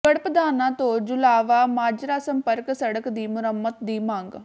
ਗੜ੍ਹਪਧਾਣਾ ਤੋਂ ਜੁਲਾਹਾ ਮਾਜਰਾ ਸੰਪਰਕ ਸੜਕ ਦੀ ਮੁਰੰਮਤ ਦੀ ਮੰਗ